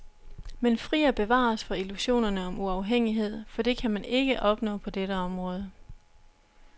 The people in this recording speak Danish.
Men fri og bevar os for illusionerne om uafhængighed, for det kan man ikke opnå på dette område.